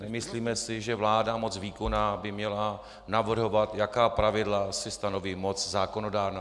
Nemyslíme si, že vláda, moc výkonná, by měla navrhovat, jaká pravidla si stanoví moc zákonodárná.